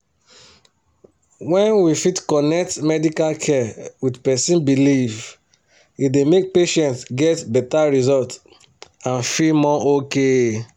when we fit connect medical care with person belief e dey make patients get better result and feel more okay.